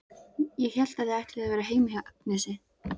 Ég hélt að þið ætluðuð að vera heima hjá Agnesi.